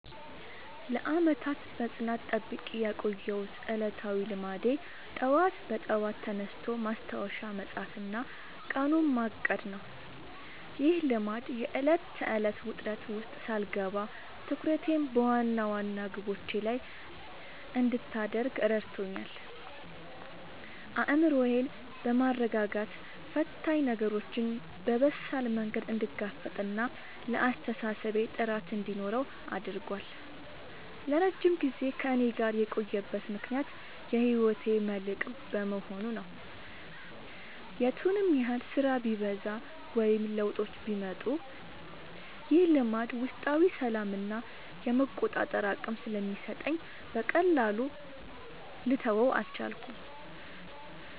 ለዓመታት በጽናት ጠብቄ ያቆየሁት ዕለታዊ ልማዴ ጠዋት በጠዋት ተነስቶ ማስታወሻ መጻፍና ቀኑን ማቀድ ነው። ይህ ልማድ የዕለት ተዕለት ውጥረት ውስጥ ሳልገባ ትኩረቴን በዋና ዋና ግቦቼ ላይ እንድታደርግ ረድቶኛል። አእምሮዬን በማረጋጋት ፈታኝ ነገሮችን በበሳል መንገድ እንድጋፈጥና ለአስተሳሰቤ ጥራት እንዲኖረው አድርጓል። ለረጅም ጊዜ ከእኔ ጋር የቆየበት ምክንያት የህይወቴ መልህቅ በመሆኑ ነው። የቱንም ያህል ስራ ቢበዛ ወይም ለውጦች ቢመጡ፣ ይህ ልማድ ውስጣዊ ሰላምና የመቆጣጠር አቅም ስለሚሰጠኝ በቀላሉ ልተወው አልቻልኩም።